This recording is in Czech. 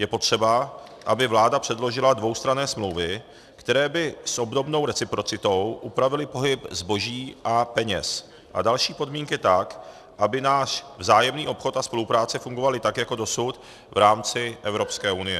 Je potřeba, aby vláda předložila dvoustranné smlouvy, které by s obdobnou reciprocitou upravily pohyb zboží a peněz a další podmínky tak, aby náš vzájemný obchod a spolupráce fungovaly tak jako dosud v rámci Evropské unie.